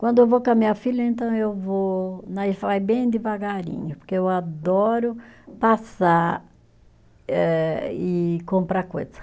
Quando eu vou com a minha filha, então eu vou, nós vai bem devagarinho, porque eu adoro passar eh e comprar coisa.